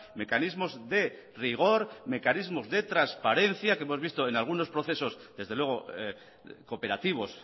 mecanismos de rigor mecanismos de transparencia que hemos visto en algunos procesos desde luego cooperativos